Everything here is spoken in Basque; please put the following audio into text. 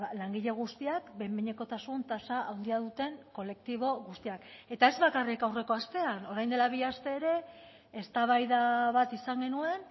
langile guztiak behin behinekotasun tasa handia duten kolektibo guztiak eta ez bakarrik aurreko astean orain dela bi aste ere eztabaida bat izan genuen